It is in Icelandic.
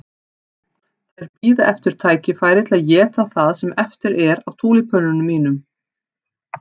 Þær bíða eftir tækifæri til að éta það sem eftir er af túlípönunum mínum.